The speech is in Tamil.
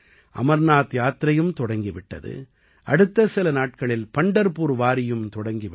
அமர்நாத் யாத்திரையும் தொடங்கி விட்டது அடுத்த சில நாட்களில் பண்டர்பூர் வாரியும் தொடங்கிவிடும்